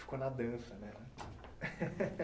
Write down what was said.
Ficou na dança, né?